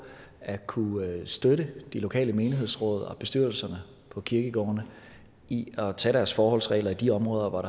at kunne støtte de lokale menighedsråd og bestyrelserne på kirkegårdene i at tage deres forholdsregler i de områder hvor